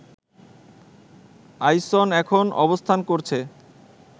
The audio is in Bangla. আইসন এখন অবস্থান করছে